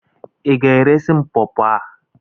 Ị ga-eresị m pọọpo a?